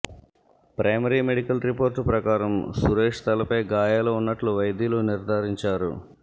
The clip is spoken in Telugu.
ప్రైమరీ మెడికల్ రిపోర్ట్ ప్రకారం సురేష్ తలపై గాయాలు ఉన్నట్లు వైద్యులు నిర్ధారించారు